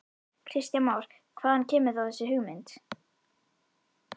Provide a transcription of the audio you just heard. Kristján Már: Hvaðan kemur þá þessi hugmynd?